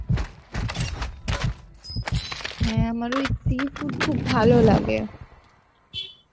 হ্যাঁ আমার ওই seafood খুব ভালো লাগে